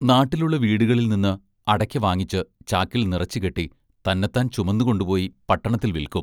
നാട്ടിലുള്ള വീടുകളിൽ നിന്ന് അടയ്ക്ക വാങ്ങിച്ച് ചാക്കിൽ നിറച്ച് കെട്ടി തന്നത്താൻ ചുമന്നുകൊണ്ടുപോയി പട്ടണത്തിൽ വിൽക്കും.